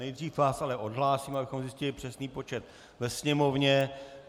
Nejdříve vás ale odhlásím, abychom zjistili přesný počet ve sněmovně.